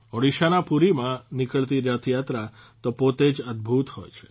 ઓડિશાના પુરીમાં નીકળતી રથયાત્રા તો પોતે જ અદભૂત હોય છે